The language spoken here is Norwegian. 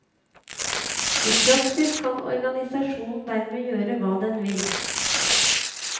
I praksis kan organisasjonen dermed gjøre hva den vil.